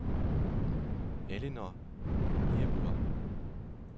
Ellinor Niebuhr